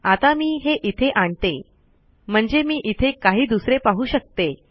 आता मी हे इथे आणते म्हणजे मी इथे काही दुसरे पाहू शकते